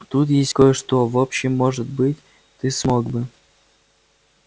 тут есть кое-что в общем может быть ты смог бы